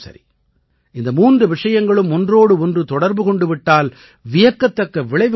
இந்த மூன்று விஷயங்களும் ஒன்றோடு ஒன்று தொடர்பு கொண்டு விட்டால் வியக்கத்தக்க விளைவுகள் பிறக்கும்